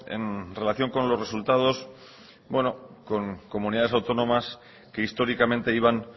en relación con los resultados bueno con comunidades autónomas que históricamente iban